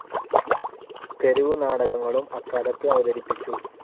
തെരുവു നാടകങ്ങളും അക്കാലത്ത് അവതരിപ്പിച്ചു.